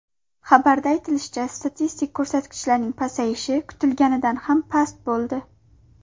Xabarda aytilishicha, statistik ko‘rsatkichlarning pasayishi kutilganidan ham past bo‘ldi.